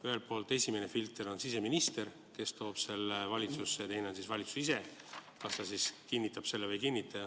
Ühelt poolt, esimene filter on siseminister, kes toob selle valitsusse, ja teine on valitsus ise, kes kinnitab selle või ei kinnita.